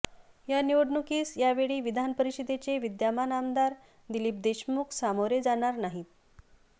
या निवडणुकीस या वेळी विधान परिषदेचे विद्यमान आमदार दिलीप देशमुख सामोरे जाणार नाहीत